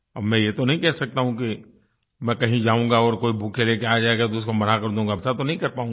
अब मैं ये तो नहीं कह सकता हूँ कि मैं कहीं जाऊँगा और कोई बुकेट ले के आ जाएगा तो उसको मना कर दूँगा ऐसा तो नहीं कर पाऊँगा